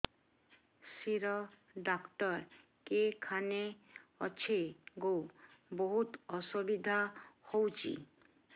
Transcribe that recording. ଶିର doctor କେଖାନେ ଅଛେ ଗୋ ବହୁତ୍ ଅସୁବିଧା ହଉଚି